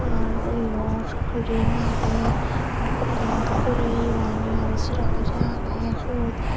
ar eyot ring agey ah pokkono dokkey uri yo agey aro sira goji agey siot.